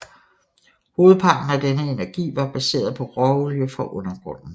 Hovedparten af denne energi var baseret på råolie fra undergrunden